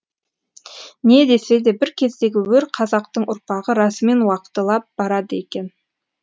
не десе де бір кездегі өр қазақтың ұрпағы расымен уақталып барады екен